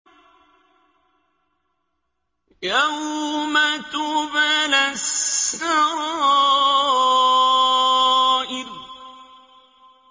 يَوْمَ تُبْلَى السَّرَائِرُ